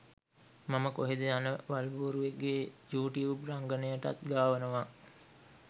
මම කොහෙද යන වල්බූරුවෙක්ගෙ යූ ටියුබ් රංගනයටත් ගාවනවා